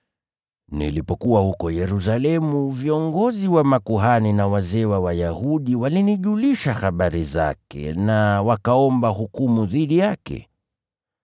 Nilipokuwa huko Yerusalemu, viongozi wa makuhani na wazee wa Wayahudi walinijulisha habari zake na wakaomba hukumu dhidi yake.